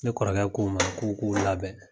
Ne kɔrɔkɛ k'u ma k'u k'u labɛn.